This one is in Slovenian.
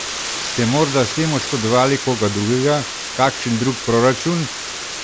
Ste morda s tem oškodovali koga drugega, kakšen drug proračun?